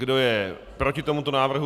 Kdo je proti tomuto návrhu?